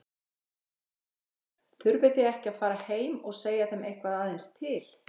Haukur: Þurfið þið ekki að fara heim og segja þeim eitthvað aðeins til?